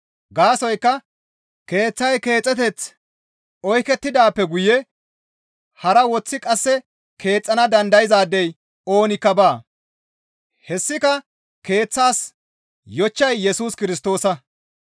Gaasoykka keeththay keexeteth oykettidaappe guye hara woththi qasse keexxana dandayzaadey oonikka baa; hessika keeththaas yochchay Yesus Kirstoosa.